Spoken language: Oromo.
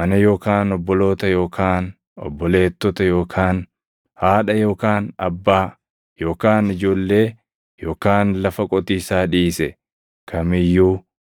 mana yookaan obboloota yookaan obboleettota yookaan haadha yookaan abbaa yookaan ijoollee yookaan lafa qotiisaa dhiise kam iyyuu,